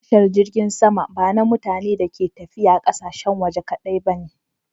Tashar jirgin sama ba na mutane da ke tafiya ƙasashen waje kadai ba ne.